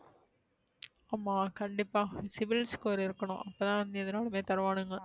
ஆமா கண்டிப்பா sibil score இருக்கணும் அப்பதான் வந்து எது நாளுமே தருவனுங்க